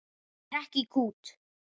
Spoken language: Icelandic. Ég hrekk í kút.